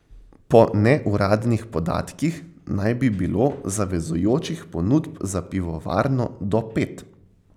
Po neuradnih podatkih naj bi bilo zavezujočih ponudb za pivovarno do pet.